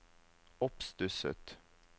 oppstusset